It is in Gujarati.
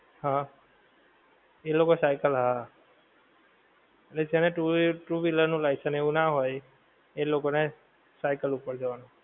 હા. એ લોકો cycle હા. એટલે જેને two wheeler નું license એવું નાં હોય એ લોકો ને cycle ઉપર જવાનું.